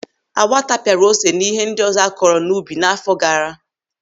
Awa tapiara ose na ihe ndị ọzọ a kọrọ n'ubi n'àfọ́ gaara.